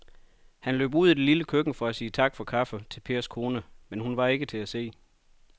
Han løb ud i det lille køkken for at sige tak for kaffe til Pers kone, men hun var ikke til at se.